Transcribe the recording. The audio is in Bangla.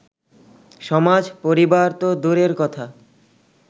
সমাজ, পরিবার তো দূরের কথা